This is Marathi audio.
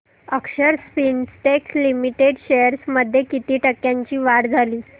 अक्षर स्पिनटेक्स लिमिटेड शेअर्स मध्ये किती टक्क्यांची वाढ झाली